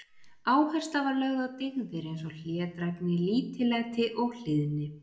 Áhersla var lögð á dyggðir eins og hlédrægni, lítillæti og hlýðni.